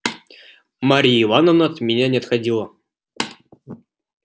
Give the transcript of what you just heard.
марья ивановна от меня не отходила